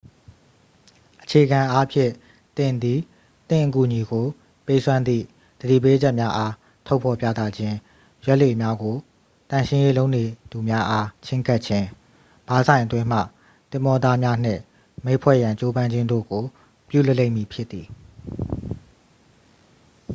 အခြေခံအားဖြင့် သင်သည် သင့်အကူအညီကို ပေးစွမ်းသည့် သတိပေးချက်များအား ထုတ်ဖော်ပြသခြင်း ရွက်လှေများကို သန့်ရှင်းရေးလုပ်နေသူများအား ချဉ်းကပ်ခြင်း ဘားဆိုင်အတွင်းမှ သင်္ဘောသားများနှင့် မိတ်ဖွဲ့ရန် ကြိုးပမ်းခြင်းတို့ကို ပြုလုပ်လိမ့်မည်ဖြစ်သည်